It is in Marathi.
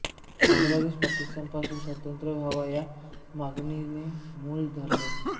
बांगलादेश पाकिस्तान पासून स्वतंत्रच व्हावा या मागणीने मूळ धरले